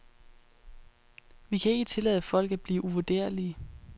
Vi kan ikke tillade folk at blive uvurderlige.